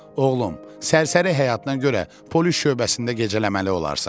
Oğlum, sərsəri həyatına görə polis şöbəsində gecələməli olarsan.